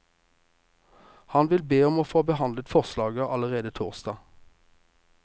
Han vil be om å få behandlet forslaget allerede torsdag.